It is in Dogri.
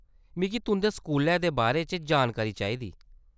मिगी तुंʼदे स्कूलै दे बारे च जानकारी चाहिदी।